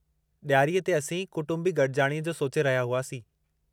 ॾियारीअ ते असीं कुटुंबी गॾिजाणीअ जो सोचे रहिया हुआसीं।